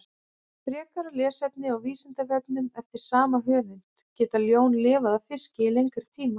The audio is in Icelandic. Frekara lesefni á Vísindavefnum eftir sama höfund: Geta ljón lifað á fiski í lengri tíma?